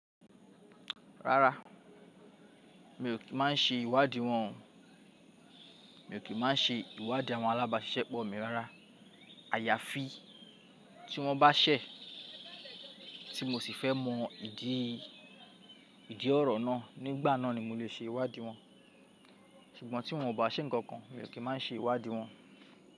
Rárá, mi ò kí máa ń ṣe ìwádì wọn mi ò kí máa ń ṣe ìwádìí àwọn alábàáṣẹ́pọ̀ mi rárá. Àyàfi tí wọ́n bá ṣẹ̀, tí mo sì fẹ́ mọ ìdí ìdí ọ̀rọ̀ náà, nígbà náà ni mo lè ṣe ìwádì wọn. Ṣùgbọ́n tí wọ́n bá ṣẹ̀ nǹkan kan, mi ò kí máa ń ṣe ìwádì wọn.